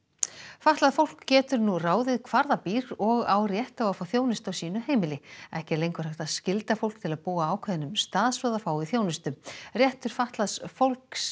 fatlað fólk getur nú ráðið hvar það býr og á rétt á að fá þjónustu á sínu heimili ekki er lengur hægt að skylda fólk til að búa á ákveðnum stað svo það fái þjónustu réttur fatlaðs fólk